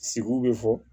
Sigiw bɛ fɔ